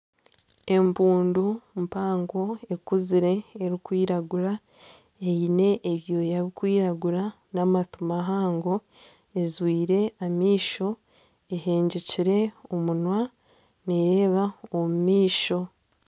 Empundu mpango ekuzire erikwiragura eine ebyoya birikwiragura n'amatu mahango ezwire amaisho ehengyekire omunwa nereba omu maisho.